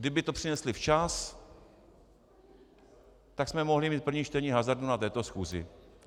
Kdyby to přinesli včas, tak jsme mohli mít první čtení hazardu na této schůzi.